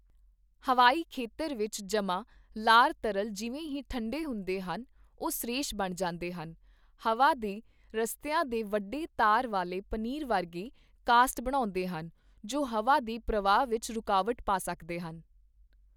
ਹਵਾਈ ਖੇਤਰ ਵਿੱਚ ਜਮ੍ਹਾਂ ਲਾਰ ਤਰਲ ਜਿਵੇਂ ਹੀ ਠੰਢੇ ਹੁੰਦੇ ਹਨ, ਉਹ ਸਰੇਸ਼ ਬਣ ਜਾਂਦੇ ਹਨ, ਹਵਾ ਦੇ ਰਸਤਿਆਂ ਦੇ ਵੱਡੇ ਤਾਰ ਵਾਲੇ ਪਨੀਰ ਵਰਗੇ ਕਾਸਟ ਬਣਾਉਂਦੇ ਹਨ, ਜੋ ਹਵਾ ਦੇ ਪ੍ਰਵਾਹ ਵਿੱਚ ਰੁਕਾਵਟ ਪਾ ਸਕਦੇ ਹਨ।